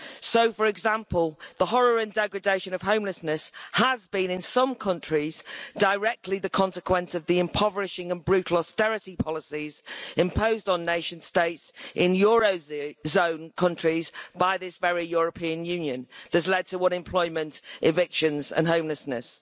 So, for example, the horror and degradation of homelessness has been in some countries directly the consequence of the impoverishing and brutal austerity policies imposed on nation states in eurozone countries by this very European Union, that has led to unemployment, evictions and homelessness.